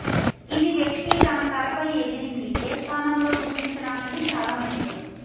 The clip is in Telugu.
ఇది వ్యక్తి తన తలపై ఎగిరింది ఏ స్థానంలో గుర్తించడానికి చాలా ముఖ్యం